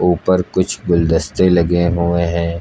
ऊपर कुछ गुलदस्ते लगे हुए हैं।